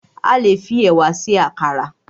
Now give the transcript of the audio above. A le fi ẹ̀wà se àkàrà